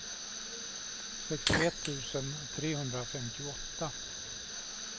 sextioett tusen trehundrafemtioåtta